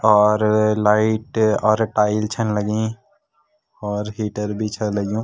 और लाइट और टाइल छन लगीं और हीटर भी छा लग्युं।